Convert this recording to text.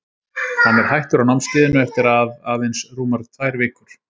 Hann er hættur á námskeiðinu eftir að aðeins rúmar tvær vikur.